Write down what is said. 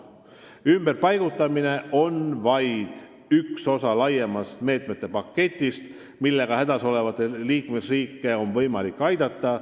Ümberpaigutamine on vaid üks osa suuremast meetmete paketist, millega on võimalik hädas olevaid liikmesriike aidata.